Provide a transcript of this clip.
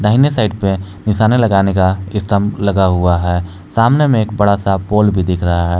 दाहिने साइड पे निशाना लगाने का स्तंभ लगा हुआ है सामने में एक बड़ा सा पोल भी दिख रहा है।